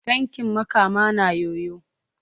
Tankin Makama naa yoyo.